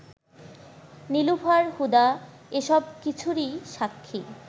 নীলুফার হুদা এসব-কিছুরই সাক্ষী